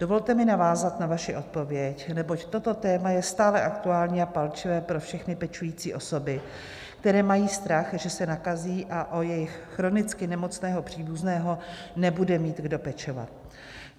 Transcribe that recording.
Dovolte mi navázat na vaši odpověď, neboť toto téma je stále aktuální a palčivé pro všechny pečující osoby, které mají strach, že se nakazí a o jejich chronicky nemocného příbuzného nebude mít kdo pečovat.